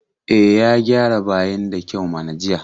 E, ya gyara bayin da kyau mana jiya.